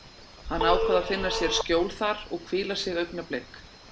Hann ákvað að finna sér skjól þar og hvíla sig augnablik.